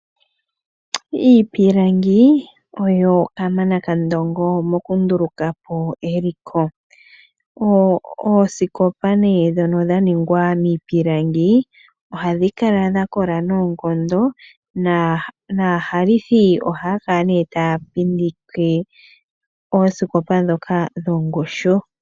Iipilangi oyo kamana kandongo mokundulukapo eliko. Oosikopa ndhono dha ningwa miipilangi ohadhi kala dha kola noonkondo naahalithi ohaya kala taya pindike oosikopa ndhoka dhongushu.